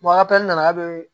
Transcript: a nana bi